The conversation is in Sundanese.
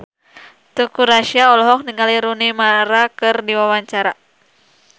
Teuku Rassya olohok ningali Rooney Mara keur diwawancara